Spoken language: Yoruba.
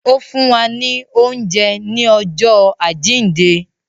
Ó fún wa ní ọjọ́ àjíǹde